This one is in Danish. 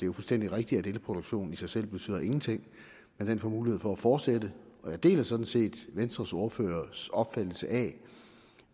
jo fuldstændig rigtigt at elproduktionen i sig selv betyder ingenting får mulighed for at fortsætte og jeg deler sådan set venstres ordførers opfattelse af